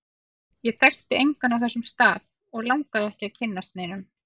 Ég þekkti engan á þessum stað, og langaði ekki að kynnast neinum.